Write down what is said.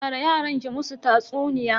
Tara yaran ki musu tatsuniya.